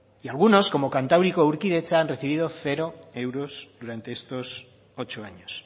y algunos como kantauriko urkidetza han recibido cero euros durante estos ocho años